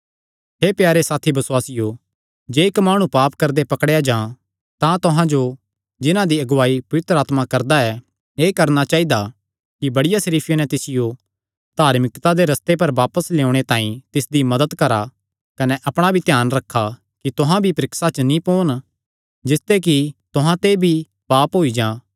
हे प्यारे साथी बसुआसियो जे इक्क माणु पाप करदे पकड़ेया जां तां तुहां जो जिन्हां दी अगुआई पवित्र आत्मा करदा ऐ एह़ करणा चाइदा कि बड़ी सरीफिया नैं तिसियो धार्मिकता दे रस्ते पर बापस लेयोणे तांई तिसदी मदत करा कने अपणा भी ध्यान रखा कि तुहां भी परीक्षा च नीं पोन जिसते कि तुहां ते भी पाप होई जां